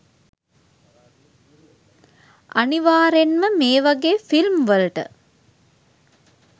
අනිවාරෙන්ම මේ වගේ ෆිල්ම් වලට